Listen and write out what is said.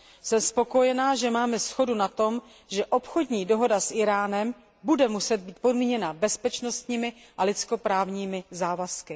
Jsem spokojená, že máme shodu na tom, že obchodní dohoda s Íránem bude muset být podmíněna bezpečnostními a lidsko právními závazky.